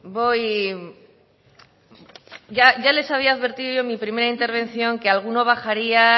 ya les había advertido en mi primera intervención que alguno bajaría